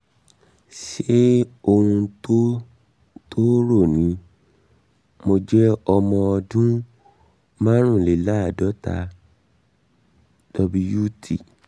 ṣé ṣé ohun tó tó rò ni? mo jẹ́ ọmọ ọdún márùnléláàádọ́ta wt